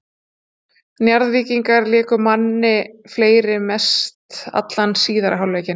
Njarðvíkingar léku manni fleiri mest allan síðari hálfleikinn.